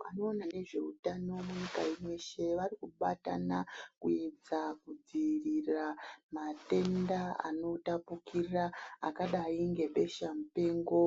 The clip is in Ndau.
Vanoona nezveutano munyika ino yeshe varikubatana kuedza kudzirira matenda anotapukira akadai ngebesha mupengo,